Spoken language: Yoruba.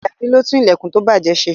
Ajadi ló tún ìlẹ̀kùn tó bàjẹ́ se.